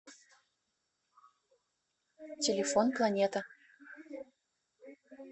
телефон планета